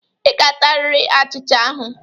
Ị ga-atarịrị achịcha ahụ.